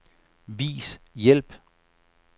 Vis hjælp.